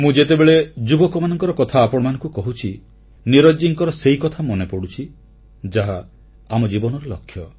ମୁଁ ଯେତେବେଳେ ଯୁବକମାନଙ୍କର କଥା ଆପଣମାନଙ୍କୁ କହୁଛି ନୀରଜ ଜୀଙ୍କର ସେଇ କଥା ମନେପଡ଼ୁଛି ଯାହା ଆମ ଜୀବନର ଲକ୍ଷ୍ୟ